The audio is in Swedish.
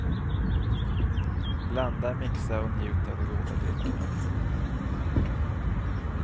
Blanda, mixa och njut av de goda dryckerna.